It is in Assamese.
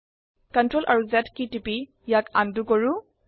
CTRL আৰু Z টিপি ইয়াক আনডু কৰো